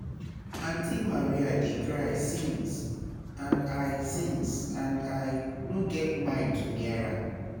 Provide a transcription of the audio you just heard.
Aunty Maria dey cry since and I since and I no get mind to near am